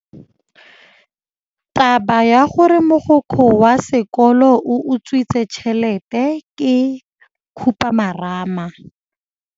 Taba ya gore mogokgo wa sekolo o utswitse tšhelete ke khupamarama.